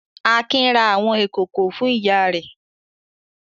Akin ra àwọn ìkòkò fún ìyá rẹ̀.